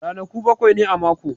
Ranaku bakwai ne a mako.